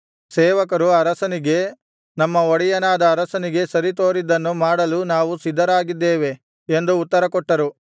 ಸೇವಕರು ಅರಸನಿಗೆ ನಮ್ಮ ಒಡೆಯನಾದ ಅರಸನಿಗೆ ಸರಿ ತೋರಿದ್ದನ್ನು ಮಾಡಲು ನಾವು ಸಿದ್ಧರಾಗಿದ್ದೇವೆ ಎಂದು ಉತ್ತರ ಕೊಟ್ಟರು